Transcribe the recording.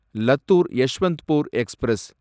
Lathur Yesvantpur express